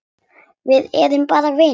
Við erum bara vinir.